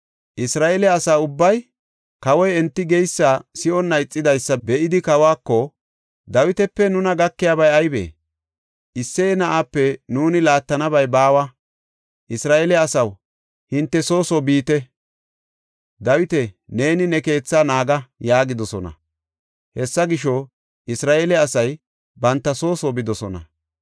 Isra7eele asa ubbay kawoy enti geysa si7onna ixidaysa be7idi kawako, “Dawitape nuna gakiyabay aybee? Isseye na7aape nuuni laattanabay baawa! Isra7eele asaw, hinte soo soo biite! Dawita, neeni ne keethaa naaga!” yaagidosona. Hessa gisho, Isra7eele asay banta soo soo bidosona.